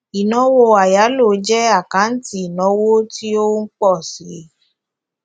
ìnáwó àyálò jẹ àkáǹtì ìnáwó tí ó ń pọ síi